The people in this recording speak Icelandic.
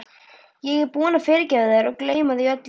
Ég er búinn að fyrirgefa þér og gleyma því öllu